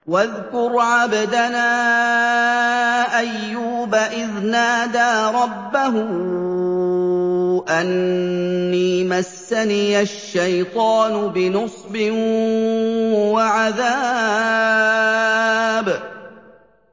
وَاذْكُرْ عَبْدَنَا أَيُّوبَ إِذْ نَادَىٰ رَبَّهُ أَنِّي مَسَّنِيَ الشَّيْطَانُ بِنُصْبٍ وَعَذَابٍ